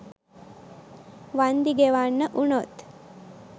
වන්දි ගෙවන්න වුනොත්?